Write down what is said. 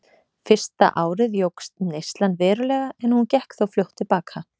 Fyrsta árið jókst neyslan verulega en hún gekk þó fljótt til baka.